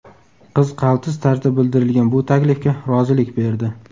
Qiz qaltis tarzda bildirilgan bu taklifga rozilik berdi.